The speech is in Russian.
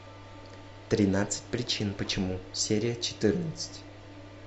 тринадцать причин почему серия четырнадцать